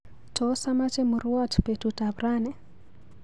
Tos amache murwoot betut ap rani?